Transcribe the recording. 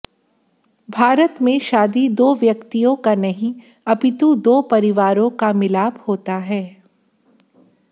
भारत में शादी दो व्यक्तियों का नहीं अपितु दो परिवारों का मिलाप होता है